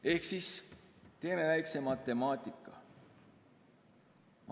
Ehk teeme väikselt matemaatikat.